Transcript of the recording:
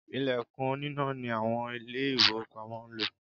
Ìlẹ̀kùn oníná ni àwọn Ilé-ìfowópamọ́ ń lò